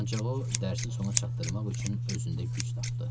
Ancaq o dərsi sona çatdırmaq üçün özündə güc tapdı.